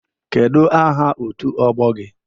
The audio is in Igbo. Kedụ aha otu ọgbọ gị?